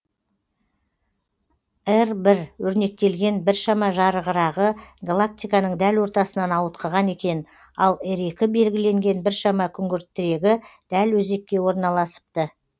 р өрнектелген біршама жарығырағы галактиканың дәл ортасынан ауытқыған екен ал р белгіленген біршама күңгіртірегі дәл өзекке орналасыпты